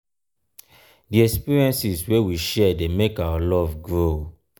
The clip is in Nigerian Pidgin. di experiences wey we share dey make our love grow.